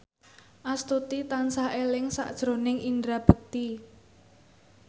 Astuti tansah eling sakjroning Indra Bekti